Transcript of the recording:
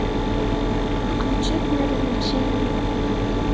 включить мир увлечений